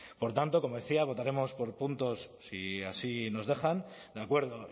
por tanto como decía votaremos por puntos si así nos dejan de acuerdo